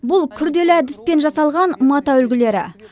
бұл күрделі әдіспен жасалған мата үлгілері